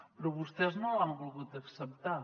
però vostès no l’han volgut acceptar